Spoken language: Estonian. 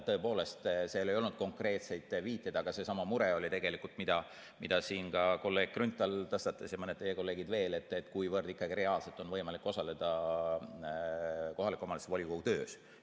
Tõepoolest, seal ei olnud konkreetseid viiteid, aga seesama mure oli tegelikult, mida siin ka kolleeg Grünthal tõstatas ja mõned teie kolleegid veel, kuivõrd ikkagi reaalselt on võimalik osaleda kohaliku omavalitsuse volikogu töös.